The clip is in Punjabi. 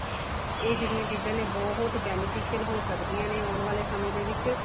ਇਹ ਜਿਹੜੀਆਂ ਚੀਜ਼ਾਂ ਨੇ ਬਹੁਤ beneficial ਹੋ ਸਕਦੀਆਂ ਨੇ ਆਉਣ ਵਾਲੇ ਸਮੇ ਦੇ ਵਿੱਚ